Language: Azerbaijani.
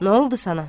Nə oldu sana?